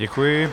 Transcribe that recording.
Děkuji.